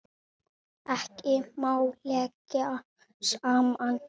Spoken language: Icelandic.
Ekki má leggja saman.